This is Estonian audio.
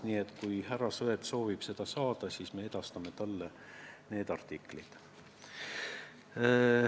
Nii et kui härra Sõerd soovib, siis me edastame talle need artiklid.